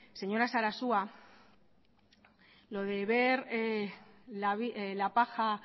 señora sarasua lo de ver la paja